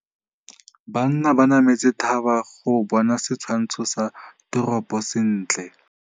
Banna ba nametse thaba go bona setshwantsho sa toropô sentle.